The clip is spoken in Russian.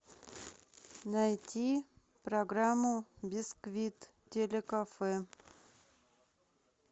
найти программу бисквит телекафе